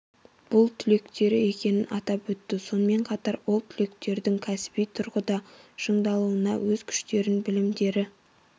бұл түлектері екенін атап өтті сонымен қатар ол түлектердің кәсіби тұрғыда шыңдалуына өз күштерін білімдері